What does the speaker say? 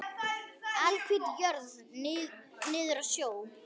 Alhvít jörð niður að sjó.